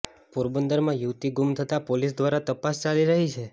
પોરબંદરમાં યુવતી ગૂમ થતા પોલીસ દ્વારા તપાસ ચાલી રહી છે